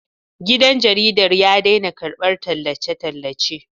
Gidan jaridar ya daina karɓar tallace-tallace